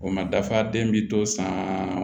O ma dafa den bi to san